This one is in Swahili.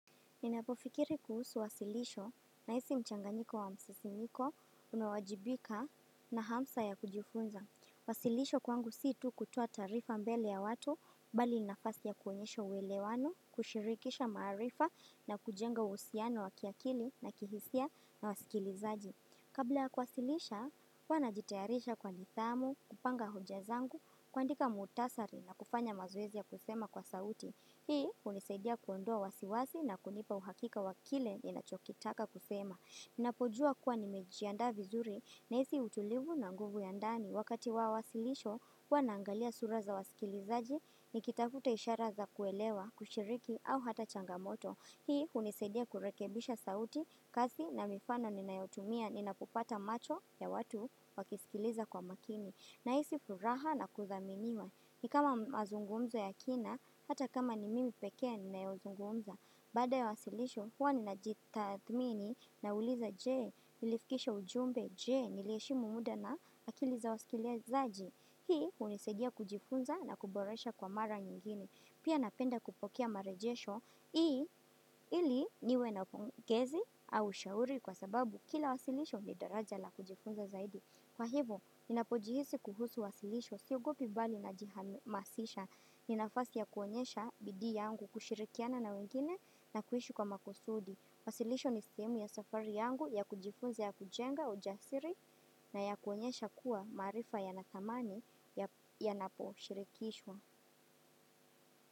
Ninapofikiri kuhusu wasilisho nahisi mchanganyiko wa msisimiko unawajibika na hamsa ya kujifunza. Wasilisho kwangu si tu kutoa taarifa mbele ya watu bali nafasi ya kuonyesha uwelewano, kushirikisha maarifa na kujenga uhusiano wa kiakili na kihisia na wasikilizaji. Kabla kuwasilisha, huwa najitayarisha kwa nidhamu, kupanga hoja zangu, kuandika muhtasari na kufanya mazoezi ya kusema kwa sauti. Hii hunisaidia kuondoa wasiwasi na kunipa uhakika wa kile ninachokitaka kusema. Napojua kuwa nimejiandaa vizuri nahisi utulivu na nguvu ya ndani. Wakati wa wasilisho, huwa naangalia sura za wasikilizaji, nikitafuta ishara za kuelewa, kushiriki au hata changamoto. Hii hunisaidia kurekebisha sauti kazi na mifano ninayotumia ninapopata macho ya watu wakisikiliza kwa makini. Nahisi furaha na kuthaminiwa ni kama mazungumzo ya kina hata kama ni mimi peke ninayozungumza. Baada ya wasilisho huwa ninajitathmini nauliza je nilifikisha ujumbe je niliheshimu muda na akili za wasikiliazaji. Hii hunisaidia kujifunza na kuboresha kwa mara nyingine. Pia napenda kupokea marejesho ili niwe na pongezi au shauri kwa sababu kila wasilisho ni daraja la kujifunza zaidi. Kwa hivo, ninapojihisi kuhusu wasilisho, siogopi bali najihamasisha. Ni nafasi ya kuonyesha bidii yangu kushirikiana na wengine na kuishi kwa makusudi. Wasilisho ni simu ya safari yangu ya kujifunza ya kujenga ujasiri na ya kuonyesha kuwa maarifa yanathamani yanaposhirikishwa.